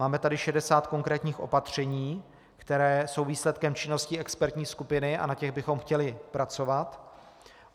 Máme tady 60 konkrétních opatření, která jsou výsledkem činnosti expertní skupiny, a na těch bychom chtěli pracovat.